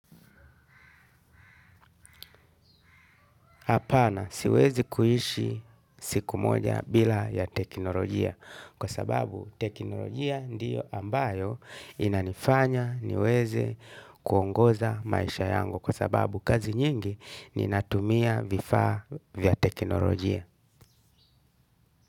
Apana siwezi kuishi siku moja bila ya teknolojia kwa sababu teknolojia ndiyo ambayo inanifanya niweze kuongoza maisha yangu kwa sababu kazi nyingi ninatumia vifaa vya teknolojia.